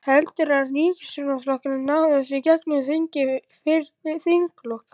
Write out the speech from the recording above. Heldurðu að ríkisstjórnarflokkarnir nái þessu í gegnum þingið fyrir þinglok?